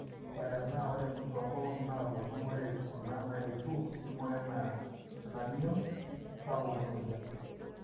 otena ore tongolongi naponu ore kuna naetuo niboyo ena mion sapuk emoyian